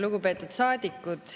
Lugupeetud saadikud!